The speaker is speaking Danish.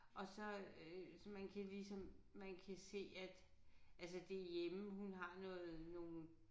Og så øh så man kan ligesom man kan se at altså det hjemme hun har noget nogle